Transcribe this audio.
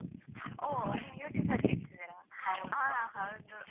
ಹೊ ನೀವ್ YouTube ಲ್ಲಿ ಹೇಳ್ತಿದ್ದೀರಾ. ಹಾ ಹಾ ಹೌದು.